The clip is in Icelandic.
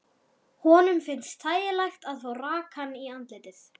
Honum finnst þægilegt að fá rakann í andlitið.